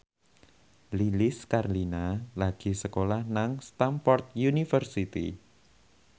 Lilis Karlina lagi sekolah nang Stamford University